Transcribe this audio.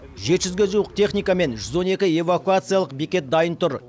жеті жүзге жуық техника және жүз он екі эвакуациялық бекет дайын тұр